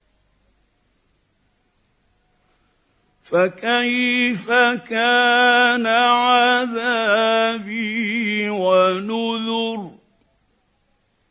فَكَيْفَ كَانَ عَذَابِي وَنُذُرِ